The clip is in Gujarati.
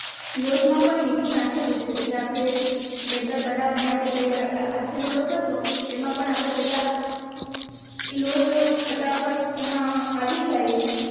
લોટ માં પણ મીઠું નાખેલું છે જે આપણે બેટર બનાવા માટે તૈયાર આઠેલો લોટ હતો એમાં પણ આપણે પેહલા ઇ લોટ તો ફટાફટ એમાં આવી જાય